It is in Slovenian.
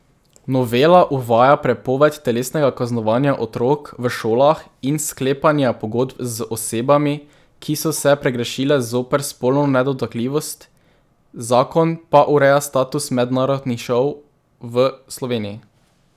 Novela uvaja prepoved telesnega kaznovanja otrok v šolah in sklepanja pogodb z osebami, ki so se pregrešile zoper spolno nedotakljivost, zakon pa ureja status mednarodnih šol v Sloveniji.